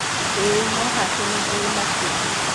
ĩĩ, no-hake nĩ-njũru makĩria.